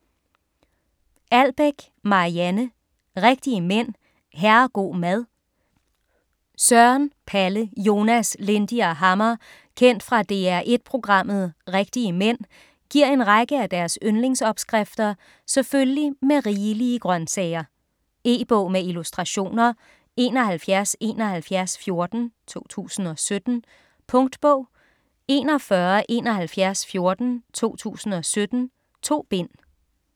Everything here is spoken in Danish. Albeck, Marianne: Rigtige mænd - herrego' mad Søren, Palle, Jonas, Lindy og Hammer kendt fra DR1 programmet "Rigtige mænd" giver en række af deres yndlingsopskrifter selvfølgelig med rigelige grønsager. E-bog med illustrationer 717114 2017. Punktbog 417114 2017. 2 bind.